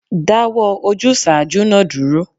Dáwọ́ ojúsàájú náà dúró